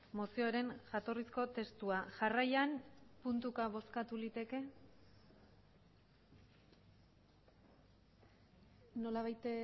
mozioaren jatorrizko testua jarraian puntuka bozkatu liteke nolabait